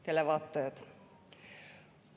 Head televaatajad!